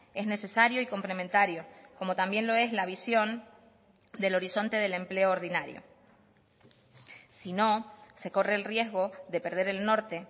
es necesario y complementario como también lo es la visión del horizonte del empleo ordinario si no se corre el riesgo de perder el norte